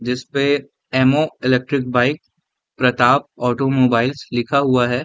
जिस पे M O. Electric bike Pratap automobiles लिखा हुआ है।